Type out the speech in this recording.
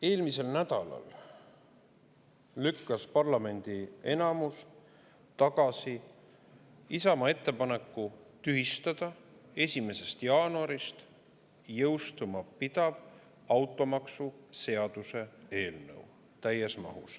Eelmisel nädalal lükkas parlamendi enamus täies mahus tagasi Isamaa ettepaneku tühistada 1. jaanuarist jõustuma pidanud maksu seaduse eelnõu.